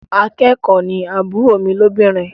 Akẹ́kọ̀ọ́ ni àbúrò mi lóbìnrin.